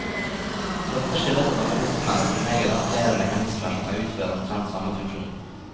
Dette skyldes at organismene som regel har flere mekanismer som kan utføre omtrent samme funksjon.